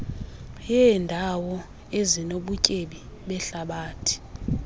yeendawo ezinobutyebi behlabathi